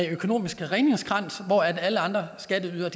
økonomisk redningskrans hvor alle andre skatteydere